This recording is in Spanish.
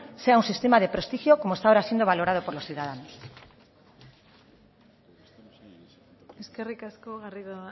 sea un sistema de prestigio como está ahora siendo valorado por los ciudadanos eskerrik asko garrido